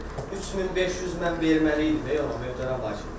3500 mən verməli idim ona, möhtərəm hakim.